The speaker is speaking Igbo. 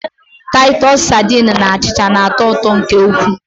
Taịtọs sadin na achịcha na-atọ ụtọ nke ukwuu.